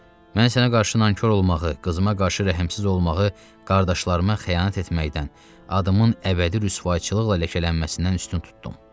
Mən sənə qarşı nankor olmağı, qızıma qarşı rəhmsiz olmağı, qardaşlarıma xəyanət etməkdən, adımın əbədi rüsvayçılıqla ləkələnməsindən üstün tutdum.